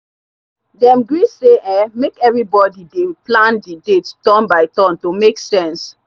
dem gree say um make everybody dey plan d date turn by turn to make sense.